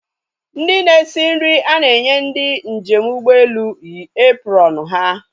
Ndị na-esi nri a na-enye ndị njem ụgbọelu yi uwe eprọọnu ha